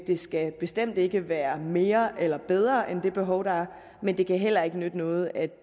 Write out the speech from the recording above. det skal bestemt ikke være mere eller bedre end at det behov der er men det kan heller ikke nytte noget at